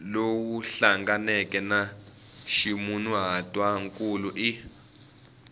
lowu hlanganeke na ximunhuhatwankulu i